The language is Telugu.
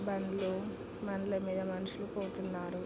బండ్లు బండ్లు మీద మనషులు పోతున్నారు.